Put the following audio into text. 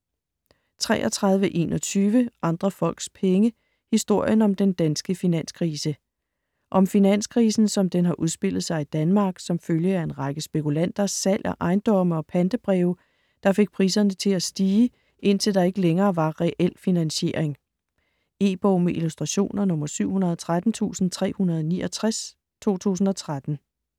33.21 Andre folks penge: historien om den danske finanskrise Om finanskrisen som den har udspillet sig i Danmark som følge af en række spekulanters salg af ejendomme og pantebreve der fik priserne til at stige, indtil der ikke længere var reel finansiering. E-bog med illustrationer 713369 2013.